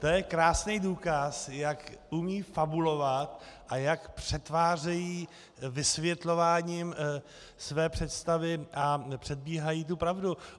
To je krásný důkaz, jak umí fabulovat a jak přetvářejí vysvětlováním své představy a předbíhají tu pravdu.